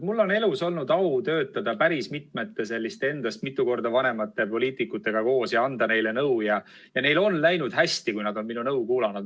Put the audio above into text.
Mul on elus olnud au töötada päris mitmete minust mitu korda vanemate poliitikutega ja anda neile nõu ning neil on läinud hästi, kui nad on minu nõu kuulda võtnud.